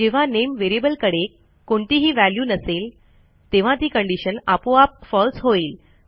जेव्हा नामे व्हेरिएबलकडे कोणतीही व्हॅल्यू नसेल तेव्हा ती कंडिशन आपोआप फळसे होईल